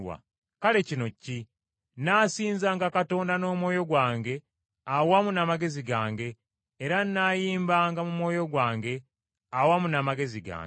Kale kino ki? Nnaasinzanga Katonda n’omwoyo gwange awamu n’amagezi gange era nnaayimbanga mu mwoyo gwange awamu n’amagezi gange.